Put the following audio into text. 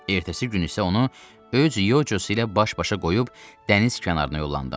Ertəsi gün isə onu öz yocası ilə baş-başa qoyub dəniz kənarına yollandım.